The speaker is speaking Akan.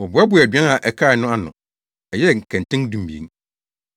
Wɔboaboaa aduan a ɛkae no ano no, ɛyɛɛ nkɛntɛn dumien.